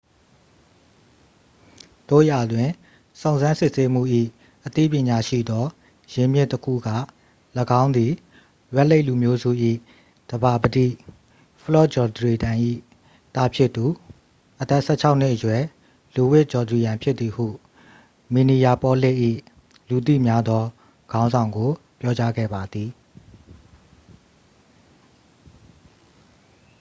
သို့ရာတွင် စုံစမ်းစစ်ဆေးမှု၏ အသိပညာရှိသောရင်းမြစ်တစ်ခုက ၎င်းသည် red lake လူမျိုးစု၏သဘာပတိ ဖလော့တ်ဂျောဒရီယမ် ၏သားဖြစ်သူ အသက် 16-နှစ်အရွယ် လူးဝစ်ဂျောဒရီယမ် ဖြစ်သည်ဟု မင်နီယာပေါလစ်၏ လူသိများသောခေါင်းဆောင်ကို ပြောကြားခဲ့ပါသည်